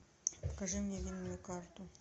покажи мне винную карту